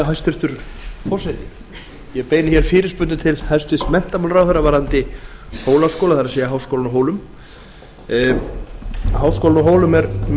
hæstvirtur forseti ég beini hér fyrirspurnum til hæstvirts menntamálaráðherra varðandi hólaskóla það er háskólann á hólum háskólinn á hólum er mjög